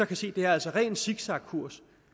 kan se er altså ren zigzagkurs